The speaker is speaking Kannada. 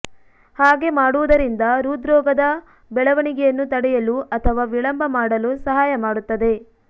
ಹಾಗೆ ಮಾಡುವುದರಿಂದ ಹೃದ್ರೋಗದ ಬೆಳವಣಿಗೆಯನ್ನು ತಡೆಯಲು ಅಥವಾ ವಿಳಂಬ ಮಾಡಲು ಸಹಾಯ ಮಾಡುತ್ತದೆ